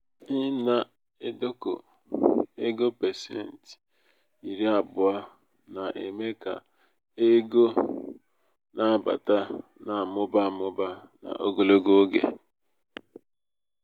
ịna-edokọ ego pasenti iri abụọ na -eme ka égo na-abata na -amụba amụba n'ogologo oge.